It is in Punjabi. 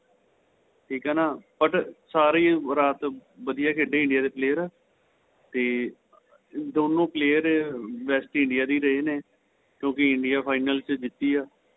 ਠੀਕ ਏ ਨਾ but ਸਾਰੇ ਹੀ ਰਾਤ ਵਧੀਆ ਖੇਡੇ India ਦੇ player ਤੇ ਦੋਨੋਂ player best India ਦੇ ਰਹੇ ਨੇ ਕਿਉਂਕਿ India final ਵਿੱਚ ਜਿੱਤੀ ਏ